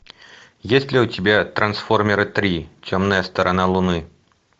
есть ли у тебя трансформеры три темная сторона луны